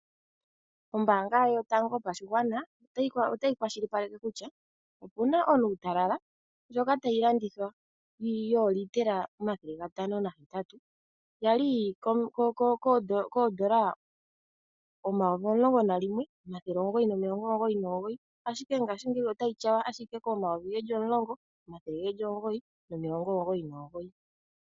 Ombaanga yotango yopashigwana otayi kwashilipaleke kutya puna onuutalala ndjoka tayi landithwa yoolitela omathele gatano nahetatu yali koodola omayoli omulongo nalimwe, nomathele omugoyi nomugoyi ashike ngaashingeyi otayi tyawa komayovi geli omulongo, omathele omugoyi nomilongo omugoyi nomugoyi.